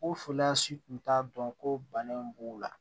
O foloyan si tun t'a dɔn ko bana in b'u la